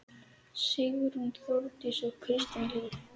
Sigrún, Þórdís og Kristín Líf.